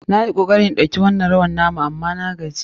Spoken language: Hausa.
Na yi kokari in koyi wannan rawar na mu amma na gaji.